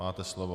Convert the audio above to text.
Máte slovo.